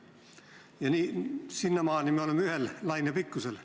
Ja sinnamaani me oleme ühel lainepikkusel.